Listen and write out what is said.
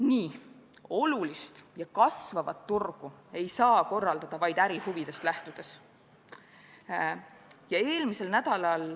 Nii olulist ja kasvavat turgu ei saa korraldada vaid ärihuvidest lähtudes.